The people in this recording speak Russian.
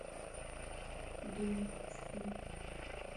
дум стрим